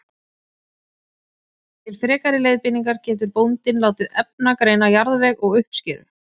Til frekari leiðbeiningar getur bóndinn látið efnagreina jarðveg og uppskeru.